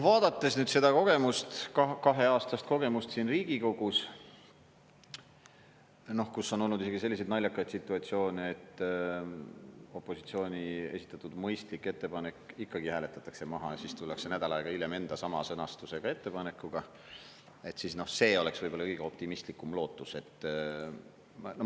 Vaadates nüüd seda kogemust, kaheaastast kogemust siin Riigikogus, kus on olnud isegi selliseid naljakaid situatsioone, et opositsiooni esitatud mõistlik ettepanek ikkagi hääletatakse maha ja siis tullakse nädal aega hiljem enda sama sõnastusega ettepanekuga, siis see oleks võib-olla kõige optimistlikum lootus.